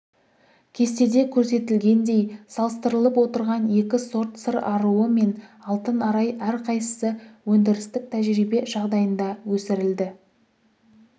кестеде көрсетілгендей салыстырылып отырған екі сорт сыр аруы мен алтын арай әрқайсысы өндірістік тәжірибе жағдайында өсірілді